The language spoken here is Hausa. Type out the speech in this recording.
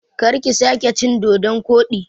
Karki sake cin dodon koɗi!